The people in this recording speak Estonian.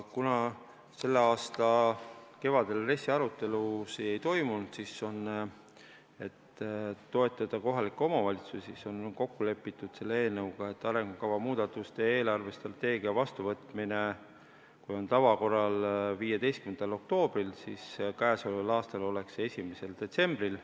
Kuna selle aasta kevadel RES-i arutelusid ei toimunud, siis selleks, et toetada kohalikke omavalitsusi, on eelnõu kohaselt kokku lepitud, et arengukava muudatuste ja eelarvestrateegia vastuvõtmine, mis tavaliselt on 15. oktoobril, on käesoleval aastal 1. detsembril.